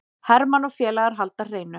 Hermann og félagar halda hreinu